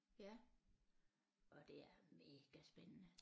Ja og det er mega spændende